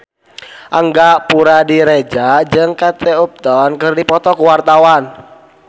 Angga Puradiredja jeung Kate Upton keur dipoto ku wartawan